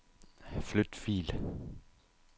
Flyt fil.